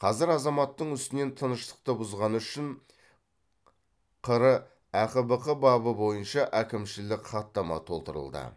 қазір азаматтың үстінен тыныштықты бұзғаны үшін қр әқбк бабы бойынша әкімшілік хаттама толтырылды